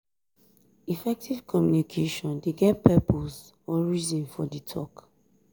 effective communication de get purpose or reason for di talk